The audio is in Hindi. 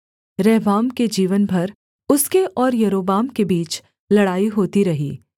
रहबाम के जीवन भर उसके और यारोबाम के बीच लड़ाई होती रही